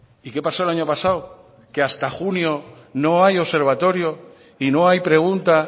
y qué pasó el año pasado que hasta junio no hay observatorio y no hay pregunta